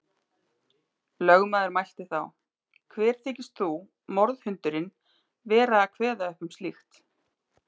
Lögmaður mælti þá: Hver þykist þú, morðhundurinn, vera að kveða upp um slíkt.